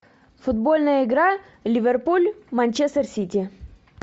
футбольная игра ливерпуль манчестер сити